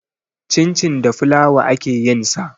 Cincin da fulawa ake yin sa.